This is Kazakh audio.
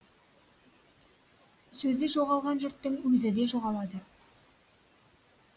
сөзі жоғалған жұрттың өзі де жоғалады